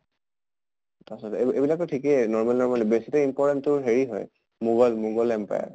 তাছত এইব এইবিলাক টো ঠিকে normal normal য়ে, বেছিকে important তোৰ হেৰি হয় মোগল মোগাল empire